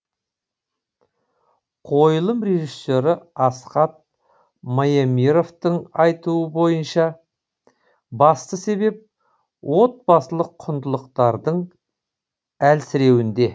қойылым режиссері асхат маемировтың айтуы бойынша басты себеп отбасылық құндылықтардың әлсіреуінде